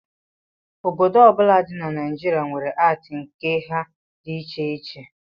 Obodo ọbụla dị na Naijirịa were atii nke ha dị iche iche